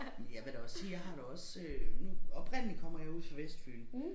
Jeg vil da også sige jeg har da også øh nu oprindeligt kommer jeg ude fra Vestfyn